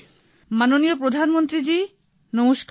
ভাবনা মাননীয় প্রধানমন্ত্রী জি নমস্কার